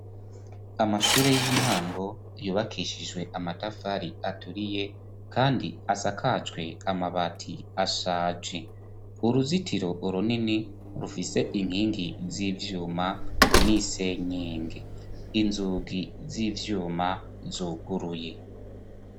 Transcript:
Amashure y'intango yubakishijwe amatafari aturiye kandi asakajwe amabati ashaje uruzitiro runini rufise inkingi z'ivyuma n'isenyenge, inzugi z'ivyuma zuguruye.